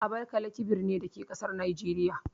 Abakalaki birni ne, da ke a ƙasar Nijeriya.